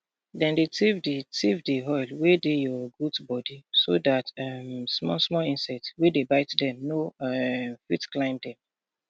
dem dey thief di thief di oil wey de dey your goat body so dat um small small insect wey dey bite dem no um fit climb dem